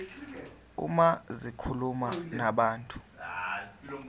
uma zikhuluma nabantu